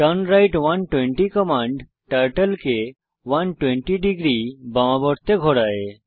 turn right 120 command turtle কে 120 degree বার্মাবর্তে ঘোরায়